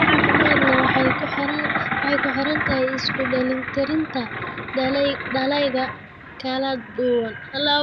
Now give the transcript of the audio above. Cunto caafimaad leh waxay ku xiran tahay isku dheelitirnaanta dalagyada kala duwan.